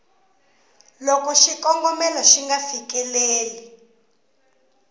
loko xikombelo xi nga fikeleli